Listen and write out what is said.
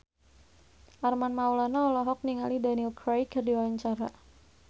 Armand Maulana olohok ningali Daniel Craig keur diwawancara